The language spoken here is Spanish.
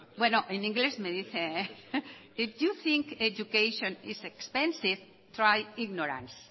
en inglés me dicen if you think education is expensive try ignorance